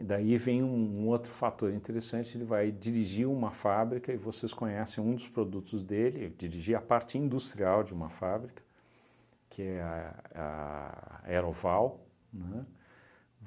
E daí vem um um outro fator interessante, ele vai dirigir uma fábrica e vocês conhecem um dos produtos dele, dirigir a parte industrial de uma fábrica, que é a a Aeroval, né?